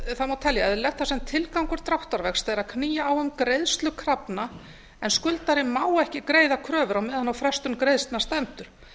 samningsvexti það má telja eðlilegt þar sem tilgangur frádráttarvaxta er að knýja á um greiðslu krafna en skuldari má ekki greiða kröfur á meðan á frestun greiðslna stendur